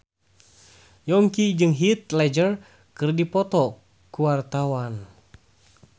Yongki jeung Heath Ledger keur dipoto ku wartawan